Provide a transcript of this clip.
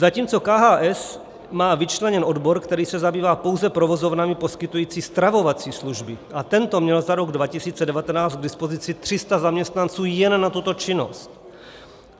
Zatímco KHS má vyčleněn odbor, který se zabývá pouze provozovnami poskytujícími stravovací služby, a tento měl za rok 2019 k dispozici 300 zaměstnanců jen na tuto činnost.